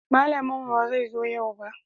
Malamin mu ba zai zo yau ba